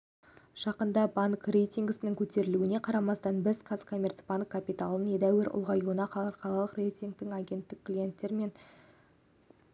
жақында банк рейтингісінің көтерілуіне қарамастан біз қазкоммерцбанк капиталының едәуір ұлғаюынан халықаралық рейтингтік агенттіктер клиенттер мен